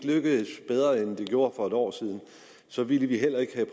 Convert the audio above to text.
lykkedes bedre end det gjorde for et år siden så ville vi heller ikke have